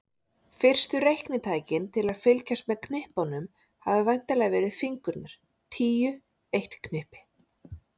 Fyrstu reiknitækin til að fylgjast með knippunum hafa væntanlega verið fingurnir tíu, eitt knippi.